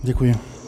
Děkuji.